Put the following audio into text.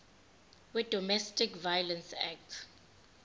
wedomestic violence act